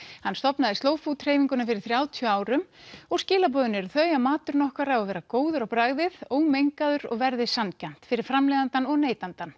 hann stofnaði slow food hreyfinguna fyrir þrjátíu árum og skilaboðin eru þau að maturinn okkar á að vera góður á bragðið ómengaður og verðið sanngjarnt fyrir framleiðandann og neytandann